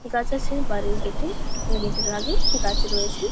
গাছ আছে বাড়ির গেট -এ। গেট -এর আগে গাছ রয়েছে |